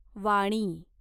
वाणी